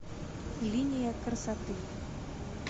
линия красоты